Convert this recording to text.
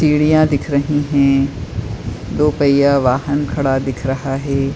सीढियाँ दिख रही हैं दो पहिया वाहन खड़ा दिख रहा है।